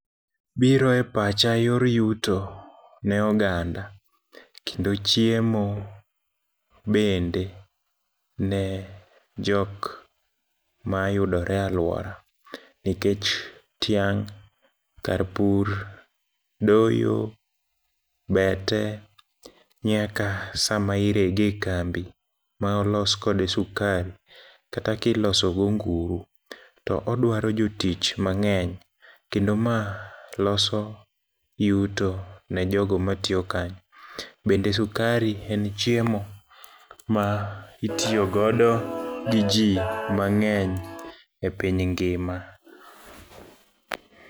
Biro e pacha yor yuto ne oganda, kendo chiemo bende ne jok mayudore aluora, nikech tyang' kar pur, doyo, bete nyaka sama irege kambi maolos kode sukari, kata kilosogo nguru, to odwaro jotich mang'eny, kendo ma loso yuto nejogo matiyo kanyo. Bende sukari en chiemo ma itiyogodo gi jii mang'eny e piny ngima.